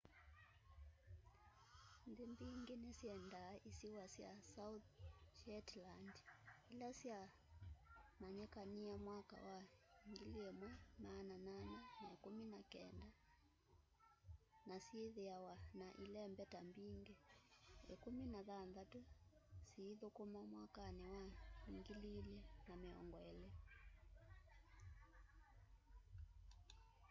nthi mbingi ni syendaa isiwa sya south shetland ila sya manyikanie mwaka wa 1819 na syithiawa na ilembeta mbingi 16 syithukuma mwakani wa 2020